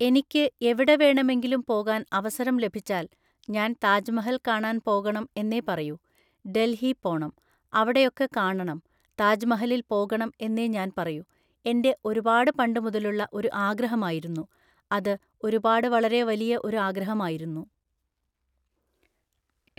എനിക്ക് എവിടെ വേണമെങ്കിലും പോകാൻ അവസരം ലഭിച്ചാൽ ഞാൻ താജ്മഹൽ കാണാൻ പോകണം എന്നേ പറയൂ. ഡൽഹി പോണം. അവിടെയൊക്കെ കാണണം. താജ്മഹലിൽ പോകണം എന്നേ ഞാൻ പറയൂ. എന്‍റെ ഒരുപാട് പണ്ട് മുതലുള്ള ഒരു ആഗ്രഹം ആയിരുന്നു. അത് ഒരുപാട് വളരെ വലിയ ഒരു ആഗ്രഹം ആയിരുന്നു.